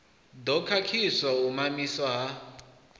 ḓo khakhisa u mamiswa ha